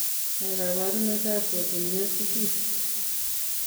Ne kaabarunetap polymyositis?